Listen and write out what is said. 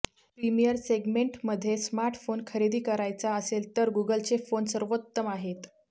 premium सेगमेंटमध्ये smartphone खरेदी करायचा असेल तर गूगलचे फोन सर्वोत्तम आहेत